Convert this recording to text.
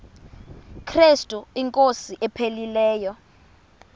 krestu inkosi ephilileyo